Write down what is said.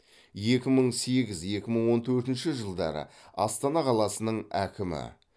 екі мың сегіз екі мың он төртінші жылдары астана қаласының әкімі